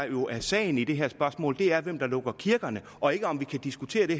jo er sagen i det her spørgsmål er hvem der lukker kirkerne og ikke om vi kan diskutere det